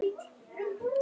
Hann sá hvernig